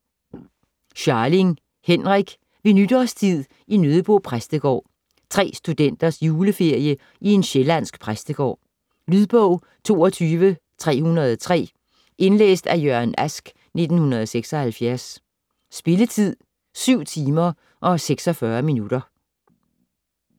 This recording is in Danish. Scharling, Henrik: Ved nytårstid i Nøddebo præstegård Tre studenters juleferie i en sjællandsk præstegård. Lydbog 22303 Indlæst af Jørgen Ask, 1976. Spilletid: 7 timer, 46 minutter.